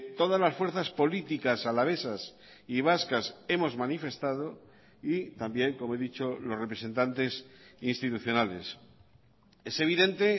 todas las fuerzas políticas alavesas y vascas hemos manifestado y también como he dicho los representantes institucionales es evidente